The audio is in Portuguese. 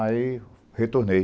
Aí, retornei.